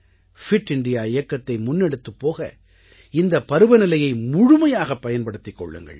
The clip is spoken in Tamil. பிட் இந்தியா இயக்கத்தை முன்னெடுத்துப் போக இந்தப் பருவநிலையை முழுமையாகப் பயன்படுத்திக் கொள்ளுங்கள்